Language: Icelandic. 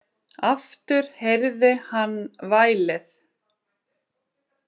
Aftur heyrði hann vælið.